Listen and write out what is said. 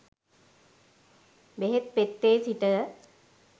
බෙහෙත් පෙත්තේ සිට